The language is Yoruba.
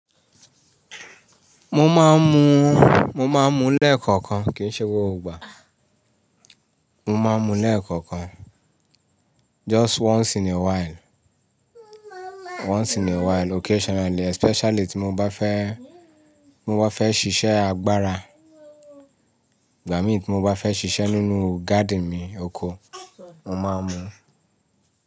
Mo máa ń mu, mo máa ń mu lẹ́ẹ̀kọ̀kan. Kìí ṣe gbogbo ìgbà. Mo máa ń mu lẹ́ẹ̀kọ̀kan. Just once in a while, once in a while, occasionally, especially tí mo bá fẹ́, ti mo bá fẹ́ ṣiṣẹ́ agbára. Gba mi? Tí mo bá fẹ́ ṣiṣẹ́ nínú garden mi oko, mo máa ń mu.